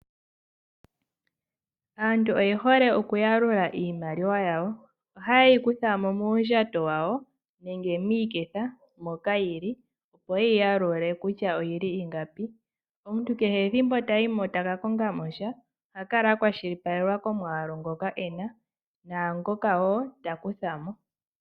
Aantu oye hole okuyalula iimaliwa yawo. Ohaye yi kuthamo muundjato wawo nenge miiketha moka yili opo ye yi yalule kutya oyi li ingapi. Omuntu kehe ethimbo tayi mo taka konga mo sha oha kala a kwashilipalekwa komwaalu ngoka ena naangoka ta kutha mo.